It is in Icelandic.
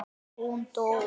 Hún titrar í munni mér.